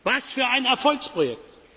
her. Was für ein Erfolgsprojekt!